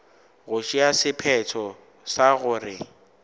go tšea sephetho sa gore